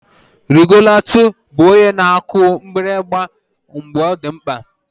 Regụlatọ bụ onye na-akụ mgbịrịgba mgbe ọ dị mkpa